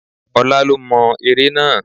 Ọlá lo mo ère náà.